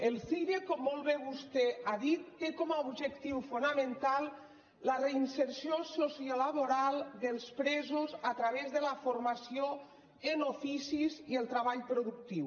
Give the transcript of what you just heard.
el cire com molt bé vostè ha dit té com a objectiu fonamental la reinserció sociolaboral dels presos a través de la formació en oficis i el treball productiu